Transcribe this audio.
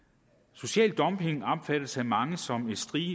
social dumping opfattes af mange som et